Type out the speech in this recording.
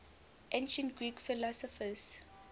ancient greek philosophers